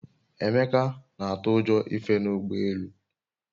Emeka na-atụ ụjọ ife n'ụgbọ elu